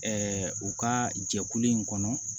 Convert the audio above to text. u ka jɛkulu in kɔnɔ